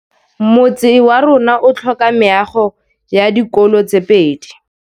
Motse warona o tlhoka meago ya dikolô tse pedi.